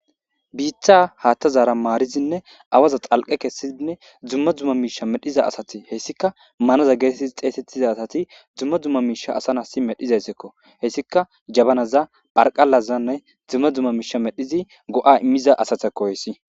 biita haaththazaara maarizinne awaza xalqe kessiinne dzumma dzumma miisha medhiza asati hessika manaza geetetti xeesettiza asati dzumma dzumma miisha asanasi medhizayzeekko hessika jabanaza pharqalazanne dzumma dzumma miisha medhizi go7a immiza asatako hayssi